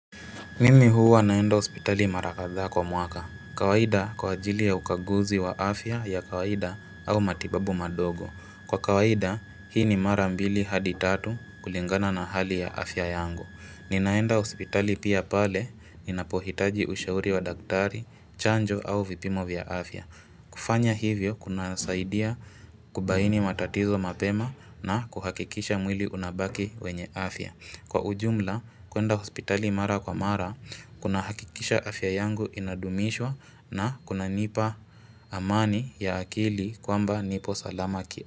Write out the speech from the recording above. Mimi huwa naenda hospitali mara kadhaa kwa mwaka. Kawaida kwa ajili ya ukaguzi wa afya ya kawaida au matibabu madogo. Kwa kawaida hii ni mara mbili hadi tatu kulingana na hali ya afya yangu. Ninaenda hospitali pia pale ninapohitaji ushauri wa daktari, chanjo au vipimo vya afya. Kufanya hivyo kunasaidia kubaini matatizo mapema na kuhakikisha mwili unabaki wenye afya. Kwa ujumla, kuenda hospitali mara kwa mara, kunahakikisha afya yangu inadumishwa na kunanipa amani ya akili kwamba nipo salama kia.